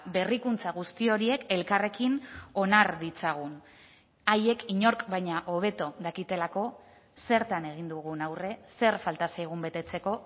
berrikuntza guzti horiek elkarrekin onar ditzagun haiek inork baina hobeto dakitelako zertan egin dugun aurre zer falta zaigun betetzeko